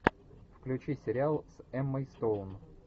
включи сериал с эммой стоун